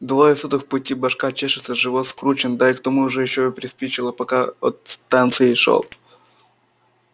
двое суток в пути башка чешется живот скручен да к тому же ещё и приспичило пока от станции шёл